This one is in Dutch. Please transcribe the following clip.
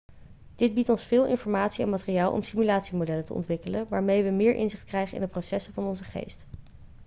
dit biedt ons veel informatie en materiaal om simulatiemodellen te ontwikkelen waarmee we meer inzicht krijgen in de processen van onze geest